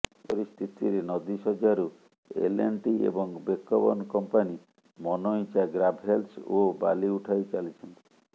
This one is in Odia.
ଏପରି ସ୍ଥିତିରେ ନଦୀ ଶଯ୍ୟାରୁ ଏଲ୍ଏଣ୍ଡ୍ଟି ଏବଂ ବେକବନ କମ୍ପାନୀ ମନଇଚ୍ଛା ଗ୍ରାଭେଲ୍ସ ଓ ବାଲି ଉଠାଇ ଚାଲିଛନ୍ତି